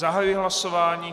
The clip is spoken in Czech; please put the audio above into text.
Zahajuji hlasování.